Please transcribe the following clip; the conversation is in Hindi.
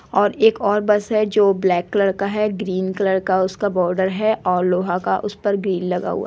और एक और बस है जो ब्लैक कलर का है ग्रीन कलर का उसका बॉर्डर है और लोहा का उस पर ग्रिल लगा हुआ |